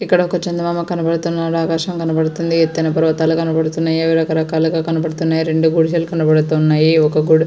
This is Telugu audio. ఇక్కడ ఒక చందమామ కనబడుతుంది. ఆకాశం కనబడుతుంది. ఎత్తైన కొండలు కనబడుతున్నాయి. పర్వతాలు కనబడుతూ ఉన్నాయి. రకరకాలుగా కనబడుతున్నాయి. రెండు గుడిసెలు కనబడుతున్నాయి.